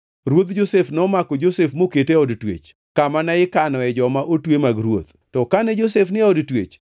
Ruodh Josef nomako Josef mokete e od twech, kamane ikanoe joma otwe mag ruoth. To kane Josef ni e od twech,